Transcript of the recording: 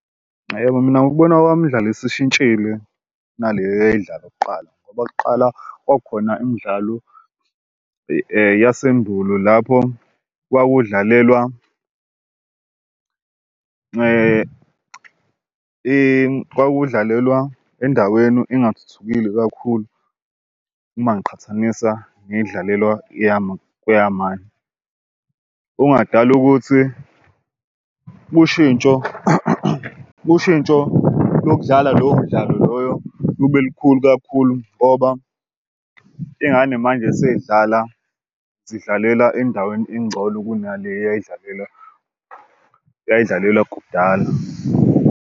Yebo, mina ngokubona kwami imdlalo esishintshile kunale eyayidlalwa kuqala ngoba kuqala kwakukhona imidlalo yasendulo lapho kwakudlalelwa kwakudlalelwa endaweni engathuthukile kakhulu. Uma ngiqhathanisa neyidlalelwa okungadala ukuthi ushintsho ushintsho lokudlala lowo mdlalo loyo lube lukhulu kakhulu ngoba iy'ngane manje sey'dlala zidlalela endaweni engcono kunale uyayidlalela eyayidlalela kudala.